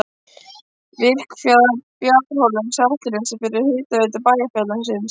Virkjaðar borholur á Seltjarnarnesi fyrir hitaveitu bæjarfélagsins.